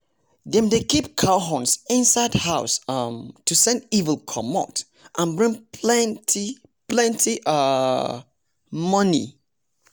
dem dey keep cow horns inside house um to send evil comot and bring plenty plenty um money